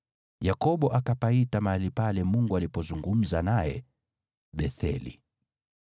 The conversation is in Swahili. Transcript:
Yakobo akapaita mahali pale Mungu alipozungumza naye Betheli.